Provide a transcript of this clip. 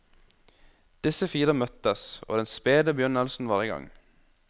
Disse fire møttes, og den spede begynnelsen var i gang.